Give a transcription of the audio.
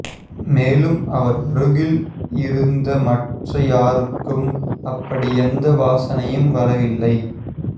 மேலும் அவர் அருகில் இருந்த மற்ற யாருக்கும் அப்படி எந்த வாசனையும் வரவில்லை